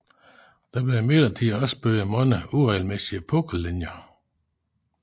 Der blev imidlertid også bygget mange uregelmæssige pukkellinjer